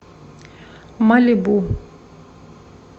малибу